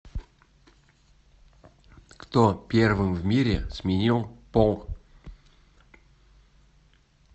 кто первым в мире сменил пол